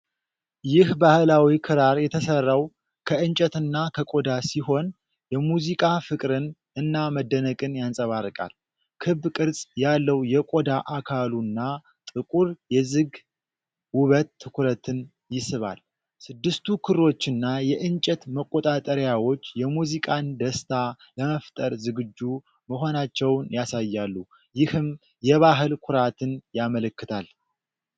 ይህ ባህላዊ ክራር የተሰራው ከእንጨትና ከቆዳ ሲሆን፣ የሙዚቃ ፍቅርን እና መደነቅን ያንጸባርቃል። ክብ ቅርጽ ያለው የቆዳ አካሉና ጥቁር የዝግ ውበት ትኩረትን ይስባል። ስድስቱ ክሮችና የእንጨት መቆጣጠሪያዎች የሙዚቃን ደስታ ለመፍጠር ዝግጁ መሆናቸውን ያሳያሉ፤ ይህም የባህል ኩራትን ያመለክታል።